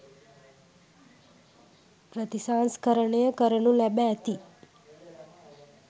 ප්‍රතිසංස්කරණය කරනු ලැබ ඇති,